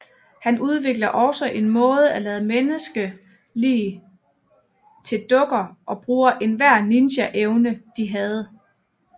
Han udvikler også en måde at lade menneske lig til dukker og bruge enhver ninja evne de havde